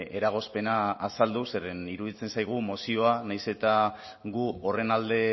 eragozpena azaldu zeren iruditzen zaigu mozioa nahiz eta gu horren alde